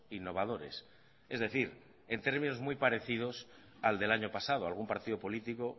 innovadores es decir en términos muy parecidos al del año pasado algún partido político